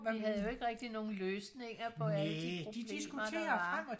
vi havde jo ikke rigtig nogle løsninger på alle de problemer der var